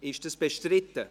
Ist das bestritten?